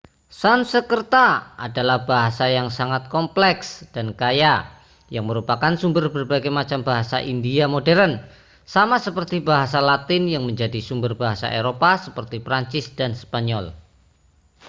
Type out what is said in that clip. sanskerta adalah bahasa yang sangat kompleks dan kaya yang merupakan sumber berbagai macam bahasa india modern sama seperti bahasa latin yang menjadi sumber bahasa eropa seperti prancis dan spanyol